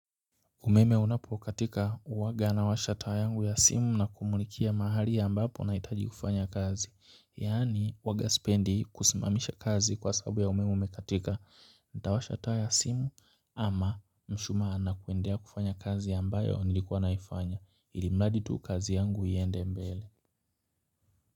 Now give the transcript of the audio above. Umeme unapokatika huwaga nawasha taa yangu ya simu na kumulikia mahali ambapo nahitaji kufanya kazi. Yaani huwaga sipendi kusimamisha kazi kwa sababu ya umeme umekatika. Nitawasha taa ya simu ama mshumaa na kuendelea kufanya kazi ambayo nilikuwa naifanya. Ili mradi tu kazi yangu iende mbele.